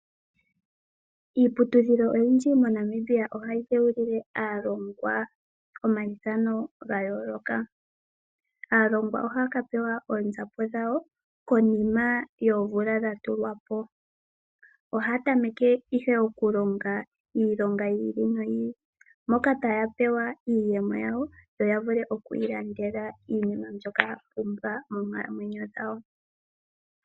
Iiputudhilo oyindji moNamibia ohayi dheulile aalongwa omaithano ga yooloka. Aalongwa ohaa ka pewa oonzapo dhawo konima yoomvula dha tulwa po. Ohaa tameke ihe okulonga iilonga yi ili noyi ili, moka taa pewa iiyemo yawo yo ya vule okwiilandela iinima mbyoka ya pumbwa moonkalamwenyo dhawo.